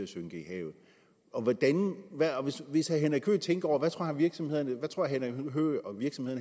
synker i havet hvis herre henrik høegh tænker tror virksomhederne